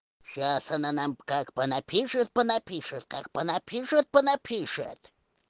сейчас она нам как по напишет по напишет как по напишет по напишет